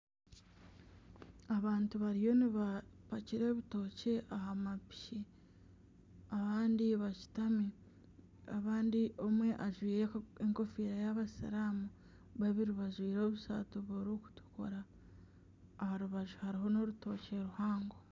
Abantu bariyo nibapakira ebitookye aha mapiki abandi bashutami, abandi omwe ajwire enkofiira y'abasiraamu, babiri bajwire obusaati burikutukura aha rubaju hariho n'orutookye ruhango